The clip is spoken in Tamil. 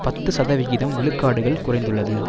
பத்து சதவிகிதம் விழுக்காடுகள் குறைந்துள்ளது